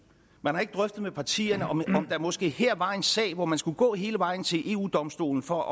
man har ikke drøftet med partierne om der måske her var en sag hvor man skulle gå hele vejen til eu domstolen for